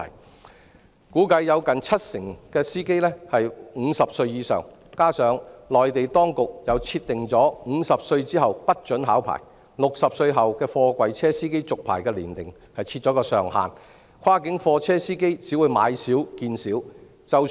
據估計，有近七成司機年齡是50歲以上，加上內地當局又設定50歲後不准考牌，以及60歲為貨櫃車司機續牌的年齡上限，跨境貨車司機只會買少見少。